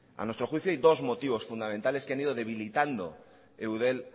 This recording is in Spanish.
a nuestro juicio hay dos motivos fundamentales que han ido debilitando eudel